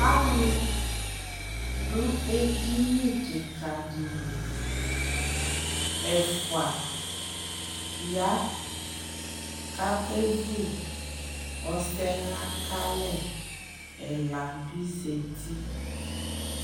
Alʋ dʋ edini kɩka dɩ li Ɛfʋa ya kʋ akevu ɔsɛɣa ka alɛ Ɛla bɩ zati